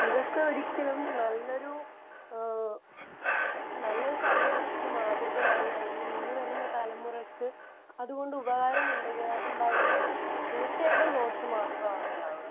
ഇതൊക്കെ ഒരിക്കലും നല്ലൊരു ഏഹ് നല്ലൊരു തലമുറക്ക് മാതൃകയാവുക അല്ലെങ്കിൽ ഇനി വരുന്ന തലമുറക്ക് അതുകൊണ്ട് ഉപകാരം ഉണ്ടകയാ...ഉണ്ടാവുകയല്ല ചെയ്യുന്നത്. തീർച്ചയായിട്ടും ദോഷം മാത്രമാണ് ഉണ്ടാവുക.